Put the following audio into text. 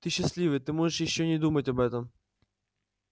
ты счастливый ты можешь ещё не думать об этом